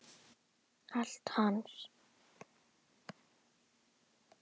Allt hans.